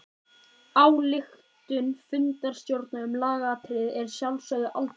Ályktun fundarstjóra um lagaatriði er að sjálfsögðu aldrei endanleg.